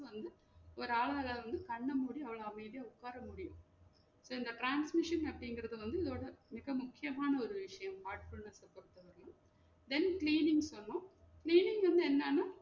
வந்து ஒரு ஆளால வந்து கண்ண மூடி அவங்க அமைதியா உக்கார முடியும் செரி இந்த transmission அப்டிங்குறது வந்து இதோட மிக முக்கியமான ஒரு விஷயம் heartfulness அ பொறுத்த வரையும then cleaning சொன்னோம் cleaning வந்து என்னென்னு சொன்னோம்னா